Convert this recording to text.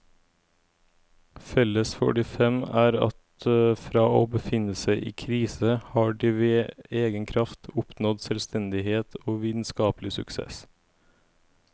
Felles for de fem er at fra å befinne seg i krise har de ved egen kraft oppnådd selvstendighet og vitenskapelig suksess.